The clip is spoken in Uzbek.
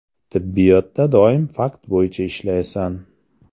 Tibbiyotda doim fakt bo‘yicha ishlaysan.